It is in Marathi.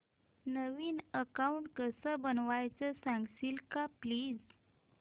नवीन अकाऊंट कसं बनवायचं सांगशील का प्लीज